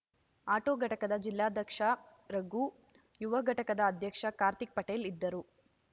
auto ಘಟಕದ ಜಿಲ್ಲಾಧ್ಯಕ್ಷ ರಘು ಯುವ ಘಟಕದ ಅಧ್ಯಕ್ಷ ಕಾರ್ತಿಕ್‌ ಪಟೇಲ್‌ ಇದ್ದರು